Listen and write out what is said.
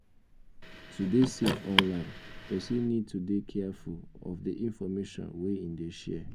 to dey safe online person need to dey careful of di information wey im dey share